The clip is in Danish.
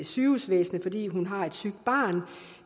sygehusvæsenet fordi hun har et sygt barn